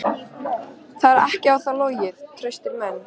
Það er ekki á þá logið: traustir menn.